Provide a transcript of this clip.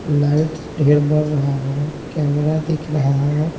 Light ढेर बर रहा है कैमरा दिख रहा है।